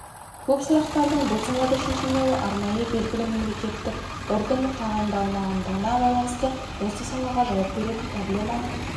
көп сұрақтардың бұл салада шешілмеуі арнайы белгілі мемлекеттік органның тағайындалмағандығына байланысты осы салаға жауап беретін проблеманы